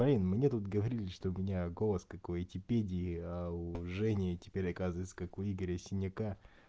марина мне тут говорили что у меня голос как у этипедии а у жени теперь оказывается как у игоря синяка